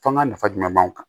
Fɔ an ka nafa jumɛn b'anw kan